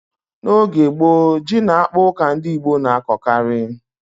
N'oge gboo, ji na akpụ ka ndị Igbo na-akọkarị.